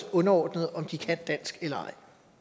underordnet om de kan dansk eller